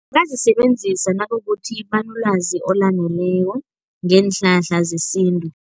Bazisebenzisa nakukuthi banolwazi olaneleko ngeenhlahla zesintu.